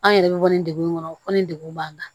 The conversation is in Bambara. An yɛrɛ bɛ bɔ nin degun in kɔnɔ fɔ ni degun b'an kan